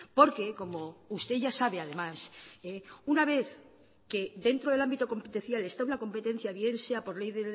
porque como usted ya sabe además una vez que dentro del ámbito competencial está una competencia bien sea por ley